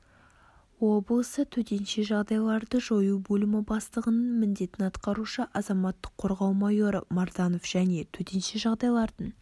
облысы төтенше жағдайларды жою бөлімі бастығының міндетін атқарушы азаматтық қорғау майоры марданов және төтенше жағдайлардың